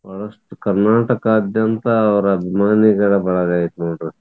ಕರ್ನಾಟಕದಾದ್ಯಂತ ಅವರ ಅಭಿಮಾನಿಗಳ ಬಳಗ ಐತಿ ನೋಡ್ರಿ.